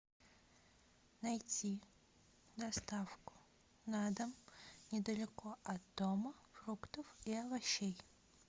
найти доставку на дом недалеко от дома фруктов и овощей